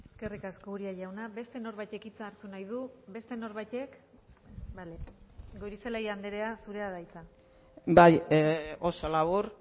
eskerrik asko uria jauna beste norbaitek hitza hartu nahi du beste norbaitek bale goirizelaia andrea zurea da hitza bai oso labur